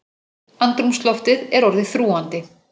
Andrúmsloftið er orðið þrúgandi.